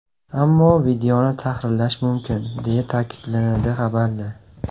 Ammo videoni tahrirlash mumkin, deya ta’kidlanadi xabarda.